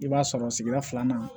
I b'a sɔrɔ sigida filanan